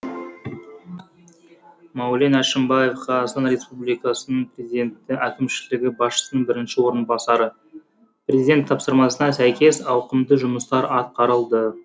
мәулен әшімбаев қазақстан республикасының президенті әкімшілігі басшысының бірінші орынбасары президент тапсырмасына сәйкес ауқымды жұмыстар атқарылды